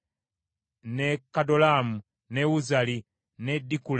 ne Kadolaamu, ne Uzali, ne Dikula;